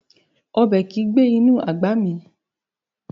Ọbẹ̀ kìí gbé inú àgbà mì